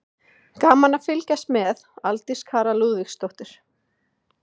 Gaman að fylgjast með: Aldís Kara Lúðvíksdóttir.